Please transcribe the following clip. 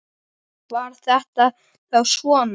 Var þetta þá svona?